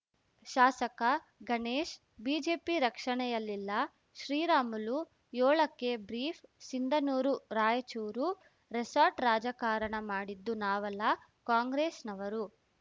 ಶಾಸಕ Ganesh BJP ರಕ್ಷಣೆಯಲ್ಲಿಲ್ಲ Sriramulu ಯೋಳಕ್ಕೆ brief ಸಿಂಧನೂರುರಾಯಚೂರು resort ರಾಜಕಾರಣ ಮಾಡಿದ್ದು ನಾವಲ್ಲ ಕಾಂಗ್ರೆಸ್‌ನವರು